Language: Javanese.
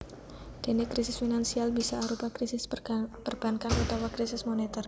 Déné krisis finansial bisa arupa krisis perbankan utawa krisis monetèr